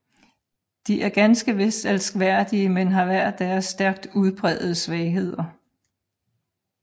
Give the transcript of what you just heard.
De er ganske vist elskværdige men har hver deres stærkt udprægede svagheder